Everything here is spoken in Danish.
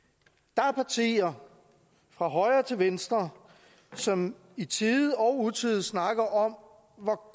der er partier fra højre til venstre som i tide og utide snakker om